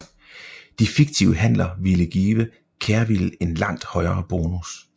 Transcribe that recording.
De fiktive handler ville give Kerviel en langt højere bonus